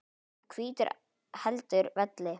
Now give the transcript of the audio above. og hvítur heldur velli.